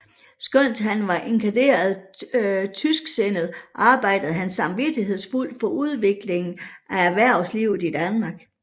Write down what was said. Skønt han var inkarneret tysksindet arbejdede han samvittighedsfuldt for udviklingen af erhvervslivet i Danmark